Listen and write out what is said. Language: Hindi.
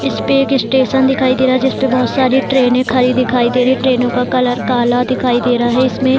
इस पे एक स्टेशन दिखाई दे रहा है जिस पर बहुत सारे ट्रेने खड़ी दिखाई दे रहे हैं ट्रेने का कलर काला दिखाई दे रहा है इसमें --